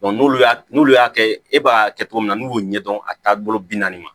n'olu y'a n'olu y'a kɛ e b'a kɛ cogo min na n'u y'o ɲɛdɔn a taabolo bi naani ma